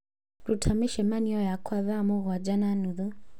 Ruta mĩcemanio yakwa ya thaa mũgwanja na nuthu